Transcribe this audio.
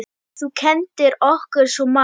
Þú kenndir okkur svo margt.